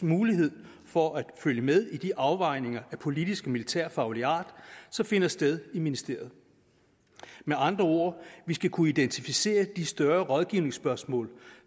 mulighed for at følge med i de afvejninger af politisk og militærfaglig art som finder sted i ministeriet med andre ord vi skal kunne identificere de større rådgivningsspørgsmål